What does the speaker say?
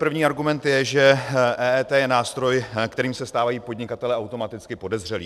První argument je, že EET je nástroj, kterým se stávají podnikatelé automaticky podezřelí.